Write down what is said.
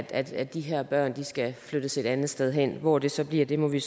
at at de her børn skal flyttes et andet sted hen hvor det så bliver bliver må vi